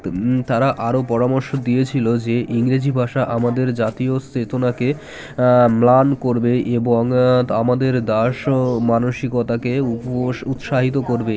তারা আরও পরামর্শ দিয়েছিল যে ইংরেজি ভাষা আমাদের জাতীয় চেতনাকে আ ম্লান করবে এবং আমাদের দাস ও মানসিকতাকে উপোষ উৎসাহিত করবে